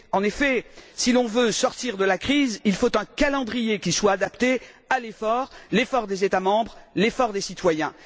En effet, si l'on veut sortir de la crise, il faut un calendrier qui soit adapté à l'effort celui des États membres, celui des citoyens.